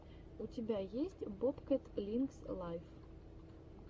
у тебя есть бобкэт линкс лайв